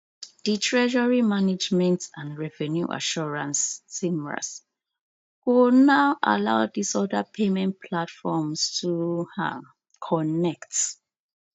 di treasury management and revenue assurance tmras go now allow dis oda payment platforms to um connect